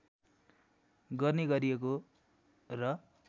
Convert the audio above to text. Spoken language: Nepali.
गर्ने गरिएको र